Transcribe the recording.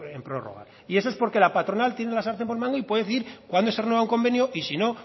en prórroga y eso es porque la patronal tiene la sartén por el mango y puede decidir cuándo se renueva un convenio y si no